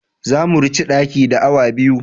Za mu ranche daki na awa biyu.